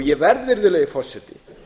ég verð virðulegi forseti